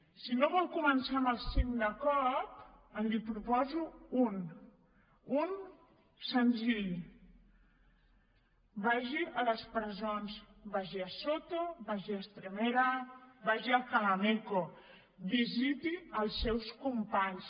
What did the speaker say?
si no vol començar amb els cinc de cop li’n proposo un un de senzill vagi a les presons vagi a soto vagi a estremera vagi a alcalá meco visiti els seus companys